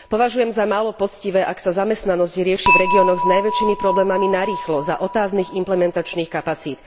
Považujem za málo poctivé, ak sa zamestnanosť rieši v regiónoch s najväčšími problémami narýchlo za otáznych implementačných kapacít.